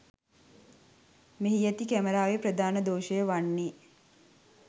මෙහි ඇති කැමරාවේ ප්‍රධාන දෝෂය වන්නේ